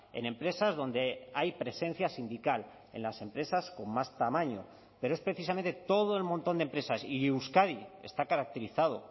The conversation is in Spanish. en empresas donde hay presencia sindical en las empresas con más tamaño pero es precisamente todo el montón de empresas y euskadi está caracterizado